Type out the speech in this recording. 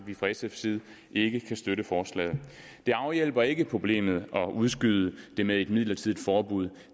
vi fra sfs side ikke kan støtte forslaget det afhjælper ikke problemet at udskyde det med et midlertidigt forbud